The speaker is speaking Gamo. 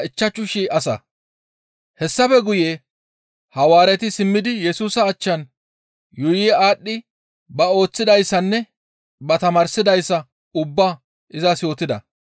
Hessafe guye Hawaareti simmidi Yesusa achchan yuuyi aadhdhi ba ooththidayssanne ba tamaarsidayssa ubbaa izas yootida.